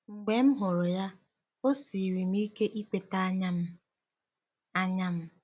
Mgbe m hụrụ ya, o siiri m ike ikweta anya m. anya m.